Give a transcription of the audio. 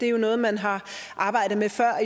er noget man har arbejdet med før og